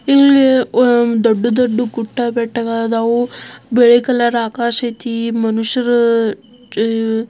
ಇಲ್ಲಿ ದೊಡ್ಡ ದೊಡ್ಡ ಗುಡ್ಡ ಬೆಟ್ಟ ಗಳಾದಾವು ಬಿಳಿ ಕಲರ್ ಆಕಾಶ ಐತಿ ಮನುಷ್ಯರು --